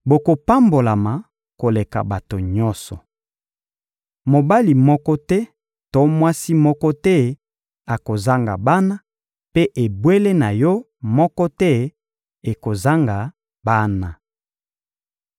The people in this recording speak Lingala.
Bokopambolama koleka bato nyonso. Mobali moko te to mwasi moko te akozanga bana, mpe ebwele na yo moko te ekozanga bana.